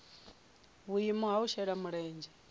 vhuimo ha u shela mulenzhe